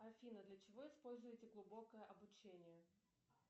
афина для чего используется глубокое обучение